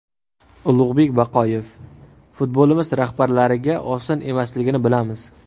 Ulug‘bek Baqoyev: Futbolimiz rahbarlariga oson emasligini bilamiz.